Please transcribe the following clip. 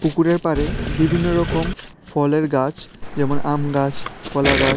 পুকুরের পাড়ে বিভিন্ন রকম ফলের গাছ যেমন আম গাছ কলা গাছ--